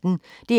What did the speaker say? DR P1